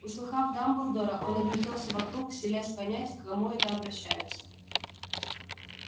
услыхав дамблдора он огляделся вокруг силясь понять к кому это обращаются